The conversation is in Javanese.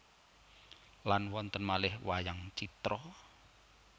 Lan wonten malih wayang citra